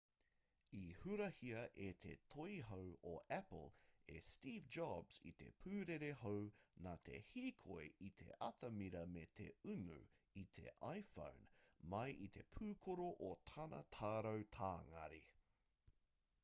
i hurahia e te toihau o apple e steve jobs i te pūrere hou nā te hīkoi i te atamira me te unu i te iphone mai i te pūkoro o tana tarau tāngari